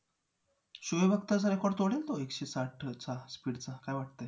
Chahe Kinder love म्हणून ते पण मधापासूनच बनवलेला आहे.